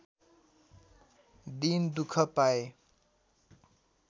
दिन दुःख पाएँ